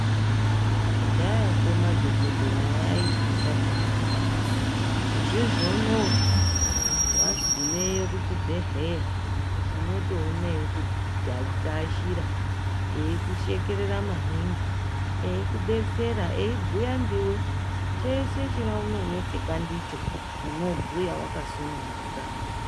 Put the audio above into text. Kudhayako madhokodheyawo aityisa peyani. Izvizvi unowu wagumeyo kuzvibhehleya unotoona eyikuashira, eyikushekerera maningi, eyikudetsere, eyibhuya ndiwe chese chaunonetseka ndicho unobhuya wakasununguka.